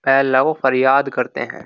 पहला को फरियाद करते हैं --